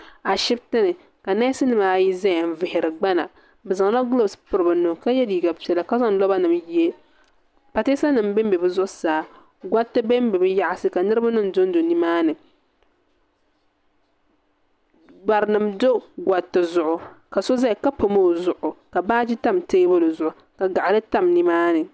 A shibiti ni ka nesnim ayi ʒaya. n vihiri gbana. bɛzaŋla guloose piriba nuu ka ye liiga piɛla. ka zaŋ lɔbanim n ye . pa teesanim ben be bɛ zuɣusaa. gariti ben be bɛ nyaansi ka barinim don do di zuɣu . barinim do gariti zuɣu. ka so ʒaya ka pam ɔ zuɣu. ka baaji tam teebuli zuɣu ka gaɣili tam nimaani.